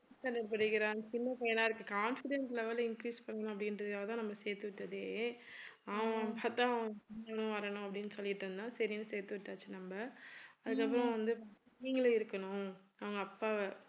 fitth standard படிக்கிறான் சின்ன பையனா~ confidence level increase பண்ணலாம் அப்படின்றதுக்காக தான் நம்ம சேர்த்துவிட்டதே அவன் பார்த்தா அவன் இவனும் வரணும் அப்படின்னு சொல்லிட்டு இருந்தான் சரின்னு சேர்த்து விட்டாச்சு நம்ம அதுக்கு அப்புறம் வந்து நீங்களும் இருக்கணும் அவங்க அப்பாவை